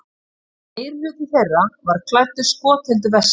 Meirihluti þeirra var klæddur skotheldu vesti